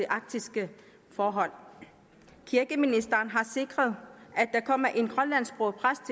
arktiske forhold kirkeministeren har sikret at der kommer en grønlandsksproget præst